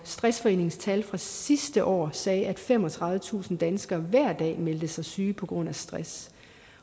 stressforeningens tal fra sidste år sagde at femogtredivetusind danskere hver dag meldte sig syge på grund af stress